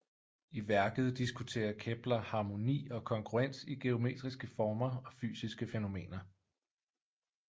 I værket diskuterer Kepler harmoni og kongruens i geometriske former og fysiske fænomener